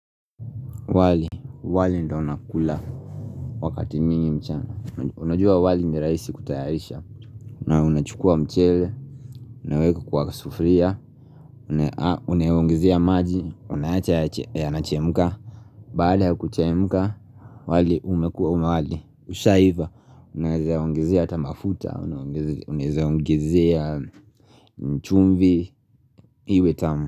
Wali, wali ndio unakula Wakati mingi mchana Unajua wali miraisi kutayarisha Unachukua mchele Unaweka kwa sufuria Unawongizia maji Unaacha ya nachemuka Baale hakuchemuka wali umekua umewali Usha hiva Unaweza yaungizia tamafuta Unaweza yaungizia Chumbi Iwe tamu.